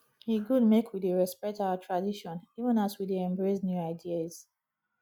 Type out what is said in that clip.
e good make we dey respect our tradition even as we dey embrace new ideas